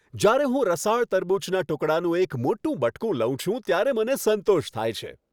જ્યારે હું રસાળ તરબૂચના ટુકડાનું એક મોટું બટકું લઉં છું ત્યારે મને સંતોષ થાય છે.